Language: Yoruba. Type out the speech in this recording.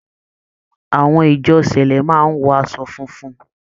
Àwọn ìjọ cẹ̀lẹ́ máa ń wọ aṣọ funfun.